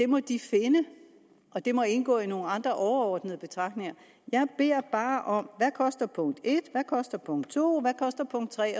må de finde og det må indgå i nogle andre overordnede betragtninger jeg beder bare om svar hvad koster punkt et hvad koster punkt to hvad koster punkt tre